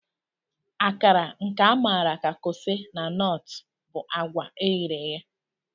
Akara, nke a maara ka kose na Nortụ, bụ agwa eghere eghe.